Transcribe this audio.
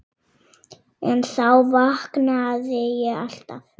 En þá vaknaði ég alltaf.